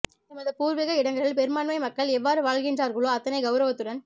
எமது பூர்வீக இடங்களில் பெரும்பான்மை மக்கள் எவ்வாறு வாழ்கின்றார்ளோ அத்தனை கௌரவத்துடன்